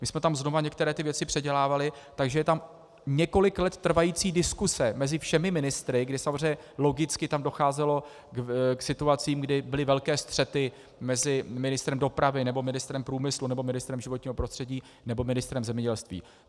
My jsme tam znova některé ty věci předělávali, takže je tam několik let trvající diskuse mezi všemi ministry, kdy samozřejmě logicky tam docházelo k situacím, kdy byly velké střety mezi ministrem dopravy nebo ministrem průmyslu nebo ministrem životního prostředí nebo ministrem zemědělství.